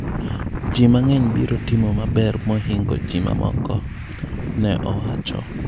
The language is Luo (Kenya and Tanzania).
Ji mang'eny biro timo maber mohingo ji ma moko ,"ne owacho.